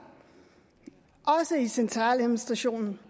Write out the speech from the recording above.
også i centraladministrationen